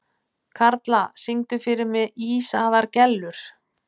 Karla, syngdu fyrir mig „Ísaðar Gellur“.